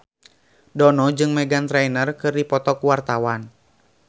Dono jeung Meghan Trainor keur dipoto ku wartawan